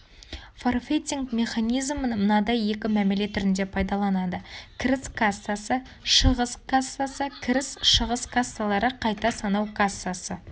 форфейтинг механизмн мынадай екі мәміле түрінде пайдаланады кіріс кассасы шығыс кассасы кіріс-шығыс кассалары қайта санау кассасы